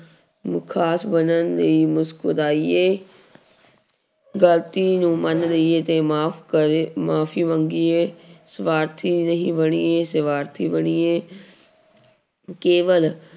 ਨੂੰ ਖ਼ਾਸ ਬਣਨ ਲਈ ਮੁਸਕਰਾਇਏ ਗ਼ਲਤੀ ਨੂੰ ਮੰਨ ਲਈਏ ਤੇ ਮਾਫ਼ ਕਰ ਮਾਫ਼ੀ ਮੰਗੀਏ ਸਵਾਰਥੀ ਨਹੀਂ ਬਣੀਏ ਸਵਾਰਥੀ ਬਣੀਏ ਕੇਵਲ